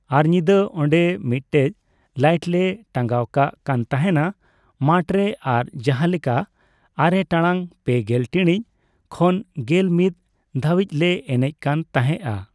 ᱟᱨ ᱧᱤᱫᱟᱹ ᱚᱸᱰᱮ ᱢᱤᱫᱴᱮᱡ ᱞᱟᱭᱤᱴᱞᱮ ᱴᱟᱸᱜᱟᱣ ᱠᱟᱜ ᱠᱟᱱᱛᱟᱦᱮᱱᱟ ᱢᱟᱴᱨᱮ ᱟᱨ ᱡᱟᱦᱟᱞᱮᱠᱟ ᱟᱨᱮ ᱴᱟᱲᱟᱝ ᱯᱮᱜᱮᱞ ᱴᱤᱲᱤᱪ ᱠᱷᱚᱱ ᱜᱮᱞ ᱢᱤᱛ ᱫᱷᱟᱹᱵᱤᱡᱞᱮ ᱮᱱᱮᱡ ᱠᱟᱱᱛᱟᱦᱮᱸᱜᱼᱟ ᱾